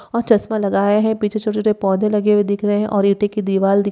और चश्मा लगाया है। पीछे छोटे-छोटे पौधे लगे हुए दिख रहे हैं और ईंटे की दीवाल दिख --